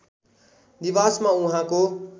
निवासमा उहाँको